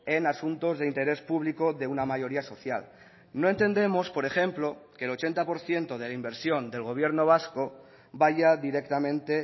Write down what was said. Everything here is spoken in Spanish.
en asuntos de interés público de una mayoría social no entendemos por ejemplo que el ochenta por ciento de la inversión del gobierno vasco vaya directamente